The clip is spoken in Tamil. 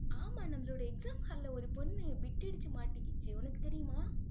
ஆமா, நம்மளுடைய exam hall ல ஒரு பொண்ணு, bit அடிச்சு மாட்டிக்கிச்சு உனக்கு தெரியுமா